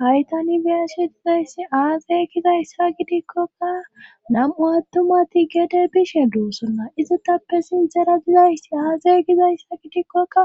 haytani byashe dizayssi aaze gizayssa gidikkoka nam7u attumati gede bishe doosona izatappe sintera dizaysi aaze gizayssa gidikkokka